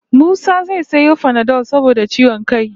Musa zai sayo panadol saboda ciwon kai